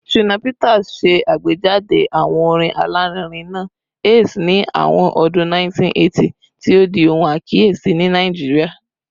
Shina Peters ṣe agbejade awo orin alarinrin naa “Ace” ni awọn ọdun 1980, ti o di ohun akiyesi ni Naijiria